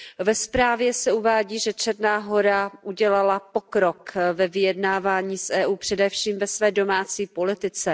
Ve zprávě se uvádí, že Černá Hora udělala pokrok ve vyjednávání s EU, především ve své domácí politice.